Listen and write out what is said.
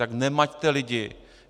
Tak nemaťte lidi!